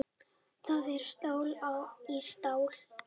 Það er stál í stál